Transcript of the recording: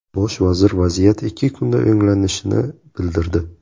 Bosh vazir vaziyat ikki kunda o‘nglanishini bildirdi.